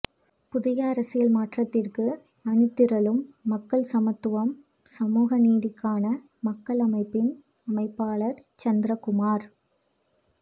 புதிய அரசியல் மாற்றத்திற்கு அணிதிரளும் மக்கள்சமத்துவம்சமூகநீதிக்கான மக்கள் அமைப்பின் அமைப்பாளர் சந்திரகுமார்